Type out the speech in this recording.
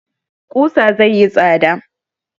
Ƙusa zai yi tsada